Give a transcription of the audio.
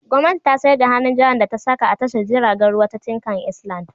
Gwamnati ta sayar da hannun jarin da ta saka a tashar jiragen ruwa ta Tinkan Island.